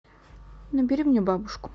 набери мне бабушку